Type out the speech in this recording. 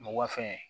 Mɔgɔ fɛn